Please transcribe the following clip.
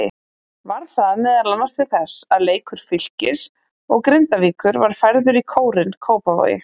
Varð það meðal til þess að leikur Fylkis og Grindavíkur var færður í Kórinn, Kópavogi.